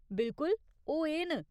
बिल्कुल ! ओह् एह् न।